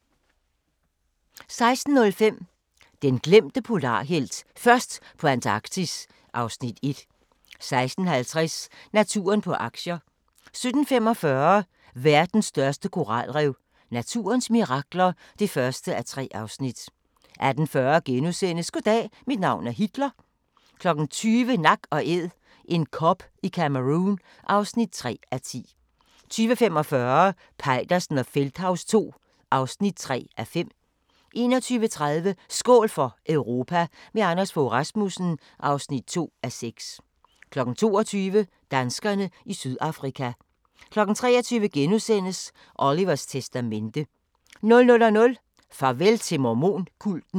16:05: Den glemte polarhelt: Først på Antarktis (Afs. 1) 16:50: Naturen på aktier 17:45: Verdens største koralrev – naturens mirakler (1:3) 18:40: Goddag, mit navn er Hitler * 20:00: Nak & Æd – en kob i Cameroun (3:10) 20:45: Peitersen og Feldthaus II (3:5) 21:30: Skål for Europa – med Anders Fogh Rasmussen (2:6) 22:00: Danskerne i Sydafrika 23:00: Olivers testamente * 00:00: Farvel til mormon-kulten